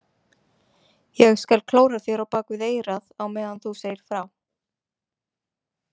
Ég skal klóra þér á bak við eyrað á meðan þú segir frá